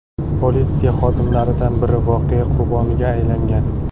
Politsiya xodimlaridan biri voqea qurboniga aylangan .